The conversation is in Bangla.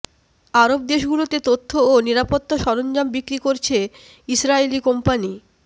আরব দেশগুলোতে তথ্য ও নিরাপত্তা সরঞ্জাম বিক্রি করছে ইসরায়েলি কোম্পানি